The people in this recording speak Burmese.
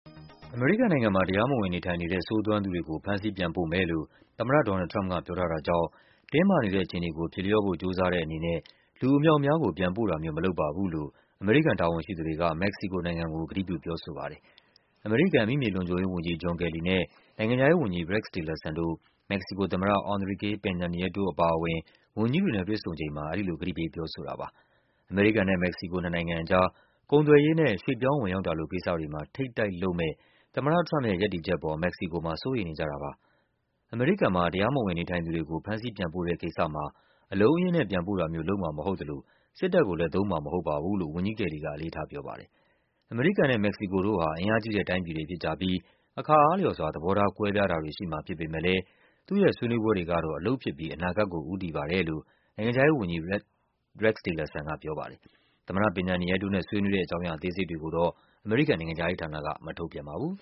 အမေရိကန်နိုင်ငံမှာ တရားမဝင်နေထိုင်နေတဲ့ ဆိုးသွမ်းသူတွေကို ဖမ်းဆီးပြန်ပို့မယ်လို့ သမ္မတ ဒေါ်နယ်လ် ထရမ့်က ပြောထား တာကြောင့် တင်းမာနေတဲ့ အခြေအနေကို ပြေလျော့ဖို့ ကြိုးစားတဲ့အနေနဲ့ လူအမြောက်အများကို ပြန်ပို့တာမျိုး မလုပ်ပါဘူးလို့ အမေရိကန်တာဝန်ရှိသူတွေက မက္ကဆီကိုကို ကတိပြုပြောဆိုပါတယ်။ အမေရိကန် အမိမြေလုံခြုံရေးဝန်ကြီး John Kelly နဲ့ နိုင်ငံခြားရေးဝန်ကြီး Rex Tillerson တို့ မက္ကဆီကိုသမ္မတ Enrique Pena Nieto အပါအဝင် ဝန်ကြီးတွေနဲ့ တွေ့ဆုံချိန်မှာ အဲဒီလို ကတိပေးပြောဆိုတာပါ။ အမေရိကန်နဲ့ မက္ကဆီကို နှစ်နိုင်ငံအကြား ကုန်သွယ်ရေးနဲ့ ရွှေ့ပြောင်းဝင်ရောက်တာလို ကိစ္စတွေမှာ ထိပ်တိုက်လုပ်မယ့် သမ္မတထရမ့်ပ်ရဲ့ ရပ်တည်ချက်အပေါ် မက္ကဆီကို မှာ စိုးရိမ်နေကြတာပါ။ အမေရိကန်မှာ တရားမဝင်နေထိုင်သူတွေကို ဖမ်းဆီးပြန်ပို့တဲ့ကိစ္စမှာ အလုံးအရင်းနဲ့ ပြန်ပို့တာမျိုး လုပ်မှာမဟုတ်သလို စစ်တပ်ကို လဲ သုံးမှာမဟုတ်ပါဘူးလို့ ဝန်ကြီးကယ်လီက အလေးထားပြောပါတယ်။ အမေရိကန်နဲ့ မက္ကဆီကိုတို့ဟာ အင်အားကြီးတဲ့တိုင်းပြည်တွေ ဖြစ်ကြပြီး အခါအားလျော်စွာ သဘောထားကွဲပြားတာတွေရှိမှာ ဖြစ်ပေမယ့်လဲ သူ့ရဲ့ဆွေးနွေးပွဲတွေကတော့ အလုပ်ဖြစ်ပြီး အနာဂတ်ကိုဦးတည်ပါတယ်လို့ နိုင်ငံခြားရေးဝန်ကြီး Tillerson က ပြောပါတယ်။ သမ္မတ Pena Nieto နဲ့ ဆွေးနွေးတဲ့အကြောင်းအရာ အသေးစိတ်တွေကို အမေရိကန်နိုင်ငံခြားရေးဌာနက မထုတ်ပြန်ပါဘူး